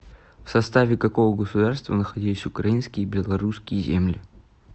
в составе какого государства находились украинские и белорусские земли